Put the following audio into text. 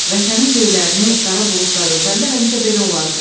Vətənin göylərini qara buludlar örtəndə həmişə belə olardı.